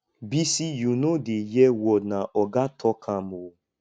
bisi you no dey hear word na oga talk am ooo